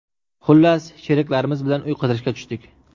Xullas, sheriklarimiz bilan uy qidirishga tushdik.